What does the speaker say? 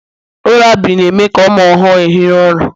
lullabi na-eme ka ụmụ ọhụrụ ehiri ụra